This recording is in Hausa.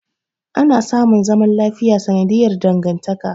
Ana samun zaman lafiya sanadiyar dangantaka.